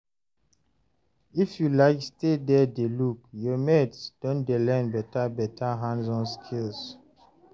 if you like stay there dey look, your mates don dey learn better better hands-on skills